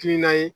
Kil'a ye